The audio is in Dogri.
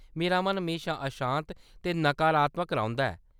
मेरा मन म्हेशा अशांत ते नकारात्मक रौंह्‌‌‌दा ऐ।